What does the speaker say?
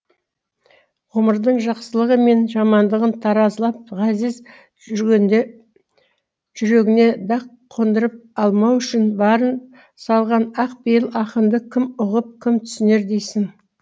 ғұмырдың жақсылығы мен жамандығын таразылап ғазиз жүргенде жүрегіне дақ қондырып алмау үшін барын салған ақпейіл ақынды кім ұғып кім түсінер дейсің